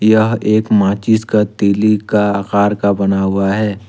यह एक माचिस का तीली का आकार का बना हुआ है।